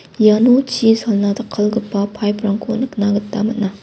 iano chi salna jakkalgipa paip rangko nikna gita man·a.